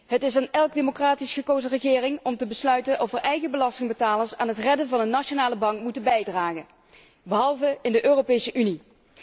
Het is aan elke democratisch verkozen regering om te besluiten of de eigen belastingbetalers aan het redden van een nationale bank moeten bijdragen, behalve in de Europese Unie.